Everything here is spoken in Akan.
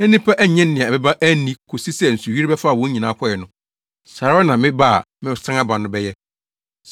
na nnipa annye nea ɛbɛba anni, kosii sɛ nsuyiri bɛfaa wɔn nyinaa kɔe no, saa ara na me ba a mɛsan aba no bɛyɛ.